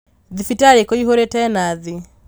Thibitarĩ kũihũrĩte nathi